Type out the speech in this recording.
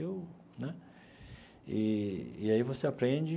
Eu né e e aí você aprende.